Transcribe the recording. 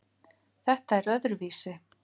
Þetta er öðruvísi